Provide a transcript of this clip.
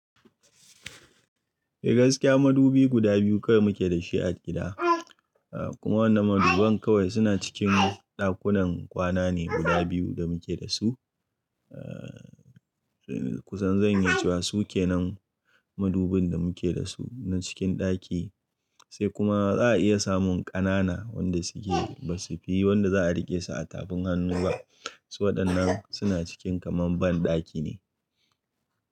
Eh gaskiya madubi guda biyu kawai muke da shi a gida, kuma wannan maduban kawai suna cikin ɗakunan kwana ne guda biyu da muke da su. Eh kusan zan iya cewa su ke nan madubin da muke da su na cikin ɗaki, sai kuma ba za a iya samun ƙanana wanda suke ba su fi wanda za a riƙe su a tafin hannu ba. Su waɗannan suna cikin kaman ban ɗaki ne.